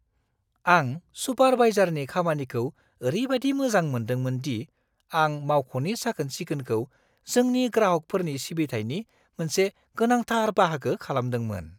आं सुपारवाइजारनि खामानिखौ ओरैबादि मोजां मोनदोंमोन दि आं मावख'नि साखोन-सिखोनखौ जोंनि ग्राहकफोरनि सिबिथायनि मोनसे गोनांथार बाहागो खालामदोंमोन।